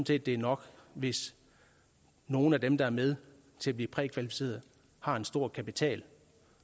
set det er nok hvis nogle af dem der er med til at blive prækvalificeret har en stor kapital